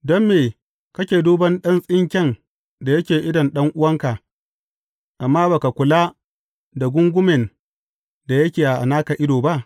Don me kake duban ɗan tsinke da yake idon ɗan’uwanka, amma ba ka kula da gungumen da yake a naka ido ba?